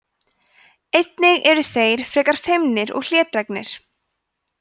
einnig eru þeir frekar feimnir og hlédrægir